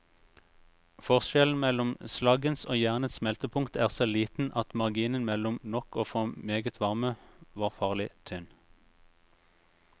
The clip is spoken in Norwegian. Forskjellen mellom slaggens og jernets smeltepunkt er så liten at marginen mellom nok og for meget varme var farlig tynn.